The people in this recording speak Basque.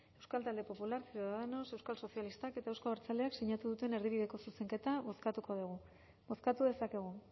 euskal talde popular ciudadanos euskal sozialistak eta euzko abertzaleak sinatu duten erdibideko zuzenketa bozkatuko dugu bozkatu dezakegu